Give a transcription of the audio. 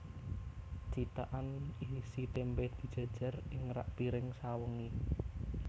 Cithakan isi témpé dijèjèr ing rak pring sawengi